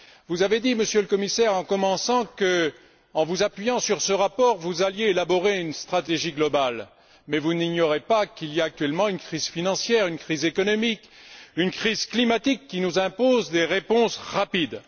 Vous avez dit, Monsieur le Commissaire, en commençant, que, en vous appuyant sur ce rapport, vous alliez élaborer une stratégie globale, mais vous n'ignorez pas qu'il y a actuellement une crise financière, une crise économique, une crise climatique qui nous imposent des réponses rapides.